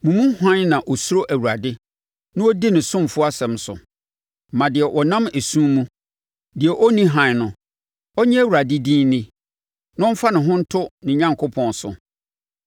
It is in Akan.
Mo mu hwan na ɔsuro Awurade, na ɔdi ne ɔsomfoɔ asɛm so? Ma deɛ ɔnam esum mu, deɛ ɔnni hann no, ɔnnye Awurade din nni na ɔmfa ne ho nto ne Onyankopɔn so.